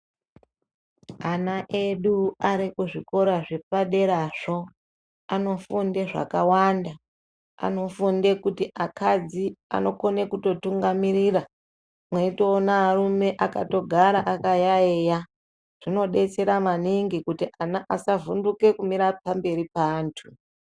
Ana edu ari kuzvikora zvepaderazvo, anofunde zvakawanda. Anofunde kuti akadzi anokone kutotungamirira, mweitoona arume akatogara akayayeya. Zvinodetsera maningi kuti ana asavhunduke kumira pamberi paantu.